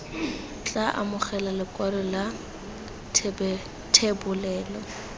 tla amogela lekwalo la thebolelo